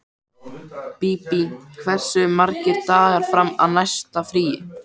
Bíbí, hversu margir dagar fram að næsta fríi?